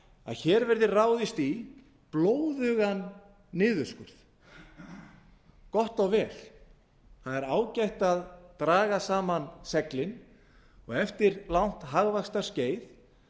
hér verði ráðist í blóðugan niðurskurð gott og vel það er ágætt að draga saman seglin og eftir langt hagvaxtarskeið